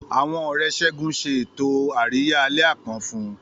Àwọn Ọ̀rẹ́ Segun ṣe ètò àríyá àlẹ́ àpọ́n fún un.